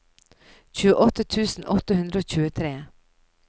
tjueåtte tusen åtte hundre og tjuetre